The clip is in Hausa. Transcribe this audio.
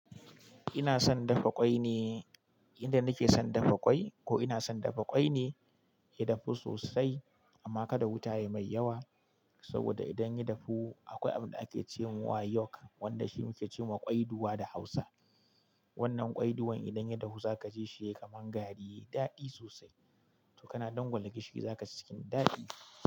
Ina son dafa ƙwai ne, yanda nake son dafa ƙwai, ko ina son dafa ƙwai ne, ya dafu sosai amma kada wuta yayi mai yawa saboda idan ya dafu akwai abinda ake cewa yolk, wanda shi muke cewa ƙwaiduwa da hausa. Wannan ƙwaiduwar idan ya dafu zaka ji shi yayi kamar gari, yayi daɗi sosai to kana dangwala gishiri zaka ci cikin daɗi.